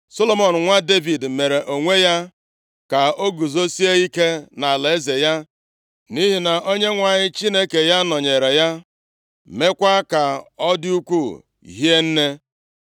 Solomọn nwa Devid mere onwe ya ka o guzosie ike nʼalaeze ya, nʼihi na Onyenwe anyị Chineke ya nọnyeere ya, meekwa ka ọ dị ukwuu hie nne.